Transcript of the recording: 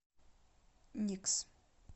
никс